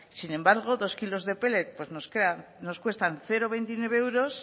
sin embargo dos kilos de pellet pues nos cuestan cero coma veintinueve euros